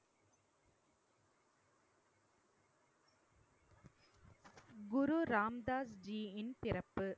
குரு ராம் தாஸ்ஜியின் பிறப்பு